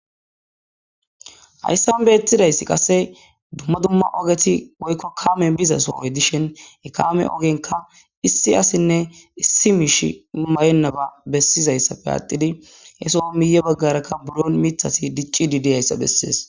Hayssanbe ethidayssi qasse dumma dumma ogeti woykko kaame bizasohoy dishin ekame ogenka issi asinne issi miish mayennaba bessizayssapfe aatidi hesoo miye baggarakka buro mithasi dicci didiyayssa bessees.